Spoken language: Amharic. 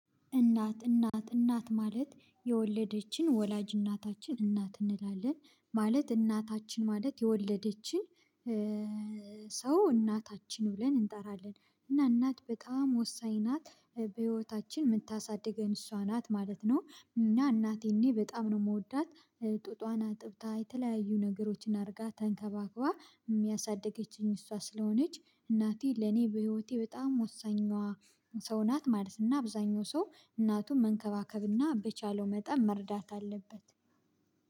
እናት እናት እናት ማለት የወለደችን ወላጅ እናታችን እናት እንላለን ማለት እናታችን ማለት የወለደችን ሰው እናታችን ብለን እንጠራለን። እና እናት በጣም ወሳኝ ናት በህይወታችን የምታሳድገን እሷ ናት ማለት ነው። እና እናቴን እኔ በጣም ነው የምወዳት። ጡጧን አጥብታ የተለያዩ ነገሮችን አድርጋ ተንከባክባ የሚያሳድገችኝ እሷ ስለሆነች። እናቴ ለኔ በህይወቴ በጣም ወሳኝ ሰው ናት ማለት። እና አብዛኛው ሰው እናቱን መንከባከብና በቻለው መጠን መርዳት አለበት።